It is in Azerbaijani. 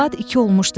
Saat 2 olmuşdu.